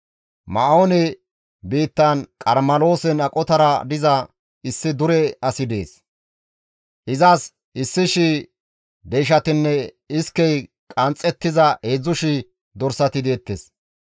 Ma7oone biittan Qarmeloosen aqotara diza issi dure asi dees; izas 1,000 deyshatinne iskey qanxxettiza 3,000 dorsati deettes.